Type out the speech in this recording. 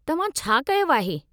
तव्हां छा कयो आहे?